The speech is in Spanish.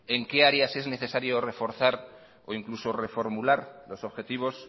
en qué áreas es necesario reforzar o incluso reformular los objetivos